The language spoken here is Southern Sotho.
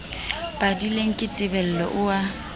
padileng ke tebello o a